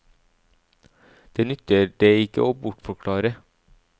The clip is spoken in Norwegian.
Den nytter det ikke å bortforklare.